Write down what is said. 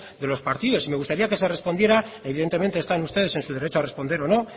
de los partidos y me gustaría que se respondiera evidentemente están ustedes en su derecho a responder o no